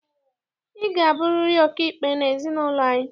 Ị ga-abụriri ọkaikpe n'ezinaụlọ anyị!